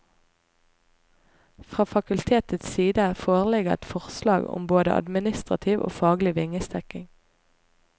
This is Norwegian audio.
Fra fakultetets side foreligger et forslag om både administrativ og faglig vingestekking.